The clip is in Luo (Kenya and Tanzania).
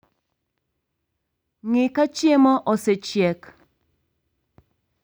Ng'ii ka chiemo osechiek